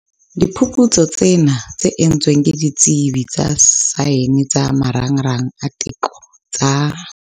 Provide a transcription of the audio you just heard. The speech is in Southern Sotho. Diphuputsu tsena, tse entsweng ke ditsebi tsa saene tsa Marangrang a Diteko tsa